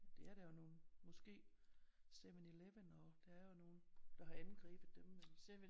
Det er der jo nogen måske 7/11 og der er jo nogen der har angrebet dem men